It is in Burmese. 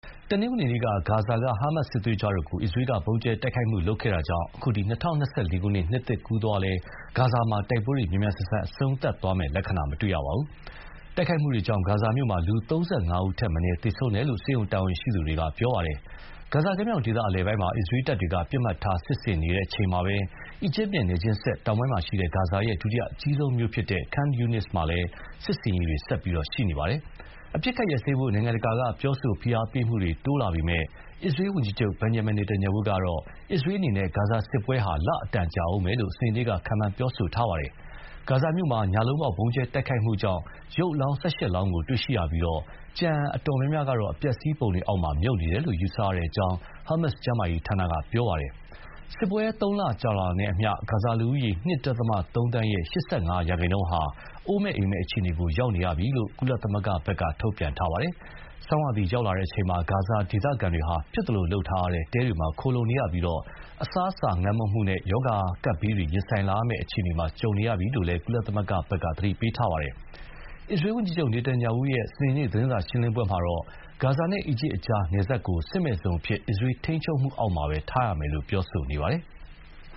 တနင်္ဂနွေနေ့က ဂါဇာက ဟာမတ်စစ်သွေးကြွတို့ကို အစ္စရေးက ဗုံးကြဲတိုက်ခိုက်ခဲ့တာကြောင့် အခု ၂၀၂၄ ခု နှစ်သစ်ကူးသွားလည်း ဂါဇာမှာ တိုက်ပွဲတွေမြန်မြန်ဆန်ဆန်အဆုံးသတ်သွားမယ့် လက္ခဏာမရှိသေးပါဘူး။ တိုက်ခိုက်မှုတွေကြောင့် ဂါဇာမြို့မှာ လူ ၃၅ ဦးထက်အနည်း သေဆုံးတယ်လို့ ဆေးရုံတာဝန်ရှိသူတွေက ပြောပါတယ်။ ဂါဇာကမ်းမြောင်ဒေသအလယ်ပိုင်းမှာ အစ္စရေးတပ်တွေက ပစ်မှတ်ထား စစ်ဆင်နေချိန်မှာပဲ အီဂျစ်နဲ့နယ်ချင်းစပ် တောင်ပိုင်းမှာရှိတဲ့ ဂါဇာရဲ့ ဒုတိယအကြီးဆုံးမြို့ Khan Younis မှာလည်း စစ်ဆင်ရေးတွေ ဆက်ရှိနေပါတယ်။ အပစ်အခတ်ရပ်စဲဖို့ နိုင်ငံတကာက ပြောဆိုဖိအားပေးမှုတွေ တိုးလာပေမယ့်လည်း အစ္စရေးဝန်ကြီးချုပ် Benjamin Netanyahu ကတော့ အစ္စရေးအနေနဲ့ ဂါဇာစစ်ပွဲဟာ လအတော်ကြာဦးမယ်လို့ စနေနေ့က ခန့်မှန်းပြောဆိုသွားပါတယ်။ ဂါဇာမြို့မှာ ညလုံးပေါက် ဗုံးကြဲတိုက်ခိုက်ခဲ့ပြီးတဲ့နောက် ရုပ်အလောင်း ၁၈ လောင်းကို တွေ့ရှိရပြီး ကျန်အတော်များများကတော့ အပျက်အစီးတွေအောက်မှာ မြုပ်နေတယ်လို့ ယူဆရတဲ့အကြောင်း ဟာမတ်ကျန်းမာရေးဌာနက ပြောပါတယ်။ စစ်ပွဲက သုံးလကြာတာနဲ့အမျှ ဂါဇာလူဦးရေ ၂.၃ သန်းရဲ့ ၈၅ ရာခိုင်နှုန်းဟာ အိုးမဲ့အိမ်မဲ့အခြေအနေရောက်နေရပြီလို့ ကုလသမဂ္ဂက ပြောပါတယ်။ ဆောင်းရာသီရောက်လာချိန်မှာ ဂါဇာဒေသခံတွေဟာ ဖြစ်သလိုလုပ်ထားတဲ့ တဲတွေမှာ ခိုလှုံနေရပြီး အစားအစာငတ်မွတ်မှုနဲ့ ရောဂါကပ်ဘေးတွေ ရင်ဆိုင်လာရမယ့်အခြေအနေကြုံနေရပြီလို့ ကုလသမဂ္ဂက သတိပေးပါတယ်။ အစ္စရေးဝန်ကြီးချုပ် Netanyahu ရဲ့ စနေနေ့ သတင်းစာရှင်းလင်းပွဲမှာတော့ ဂါဇာနဲ့အီဂျစ်ကြား နယ်စပ်ကို စစ်မဲ့ဇုံအဖြစ် အစ္စရေးထိန်းချုပ်မှုအောက်မှာ ထားရမယ်လို့ ပြောနေပါတယ်။